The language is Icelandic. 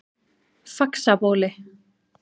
Faxabóli